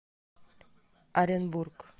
оренбург